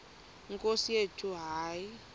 nkosi yethu hayi